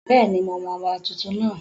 Bẹ́ẹ̀ni, mo mọ ọba tuntun náà